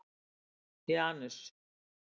Janus